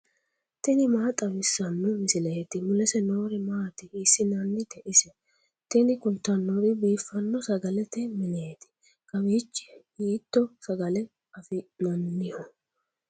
tini maa xawissanno misileeti ? mulese noori maati ? hiissinannite ise ? tini kultannori biifanno sagalete mineeti kawiichi hiitto sagale afi'nanniho